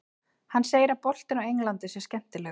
Hann segir að boltinn á Englandi sé skemmtilegur.